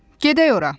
Gedək ora!